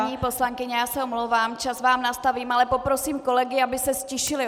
Paní poslankyně, já se omlouvám, čas vám nastavím, ale poprosím kolegy, aby se ztišili.